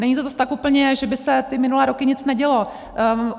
Není to zas tak úplně, že by se ty minulé roky nic nedělo.